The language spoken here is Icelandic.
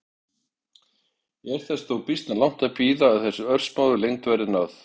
Er þess þó býsna langt að bíða að þeirri örsmáu lengd verði náð.